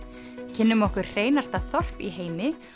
kynnum okkur hreinasta þorp í heimi